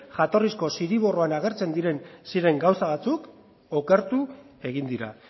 jatorrizko zirriborroan agertzen ziren gauza batzuk okertu egin dira